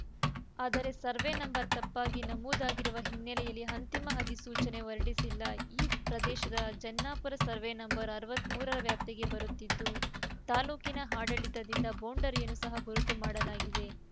ಆದರೆ ಸರ್ವೆ ನಂ ತಪ್ಪಾಗಿ ನಮೂದಾಗಿರುವ ಹಿನ್ನೆಲೆಯಲ್ಲಿ ಅಂತಿಮ ಅಧಿಸೂಚನೆ ಹೊರಡಿಸಿಲ್ಲ ಈ ಪ್ರದೇಶ ಜನ್ನಾಪುರ ಸರ್ವೆ ನಂಬರ್ ಅರವತ್ತ್ ಮೂರರ ವ್ಯಾಪ್ತಿಗೆ ಬರುತ್ತಿದ್ದು ತಾಲೂಕಿನ ಆಡಳಿತದಿಂದ ಬೌಂಡರಿಯನ್ನು ಸಹ ಗುರುತು ಮಾಡಲಾಗಿದೆ